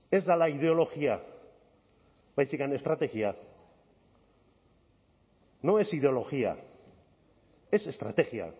ez dela ideologia baizik eta estrategia no es ideología es estrategia